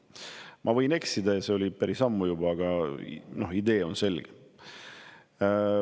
Ma võin eksida, see oli päris ammu juba, aga idee on selge.